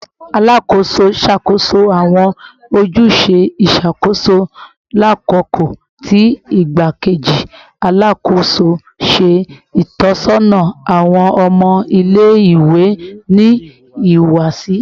Alakoso n ṣakoso awọn ojuse iṣakoso lakoko ti Igbakeji Alakoso n ṣe itọsọna awọn ọmọ ile-iwe ni ihuwasi